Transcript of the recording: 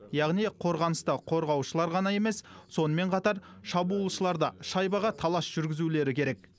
яғни қорғаныста қорғаушылар ғана емес сонымен қатар шабуылшылар да шайбаға талас жүргізулері керек